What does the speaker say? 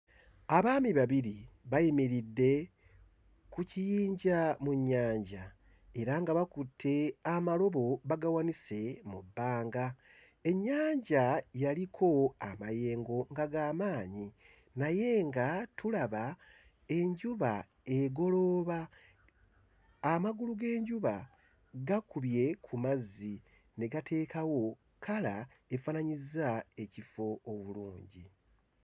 Abaami babiri bayimiridde ku kiyinja mu nnyanja era nga bakutte amalobo bagawanise mu bbanga. Ennyanja yaliko amayengo nga ga maanyi naye nga tulaba enjuba egolooba. Amagulu g'enjuba gakubye ku mazzi ne gateekawo kkala efaananyizza ekifo obulungi.